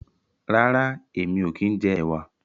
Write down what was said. rera èmi ọ kín jẹ ẹwà.